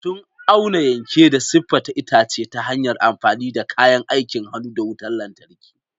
Sun auna, yanke, da siffata itace ta hanyar amfani da kayan aikin hannu da wutar lantarki.